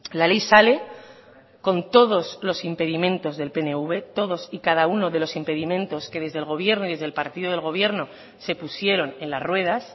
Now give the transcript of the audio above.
la ley sale con todos los impedimentos del pnv todos y cada uno de los impedimentos que desde el gobierno y desde el partido del gobierno se pusieron en las ruedas